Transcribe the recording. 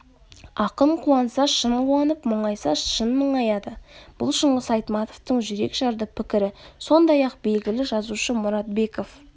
ақын қуанса шын қуанып мұнайса шын мұңаяды бұл шыңғыс айтматовтың жүрекжарды пікірі сондай-ақ белгілі жазушы мұратбеков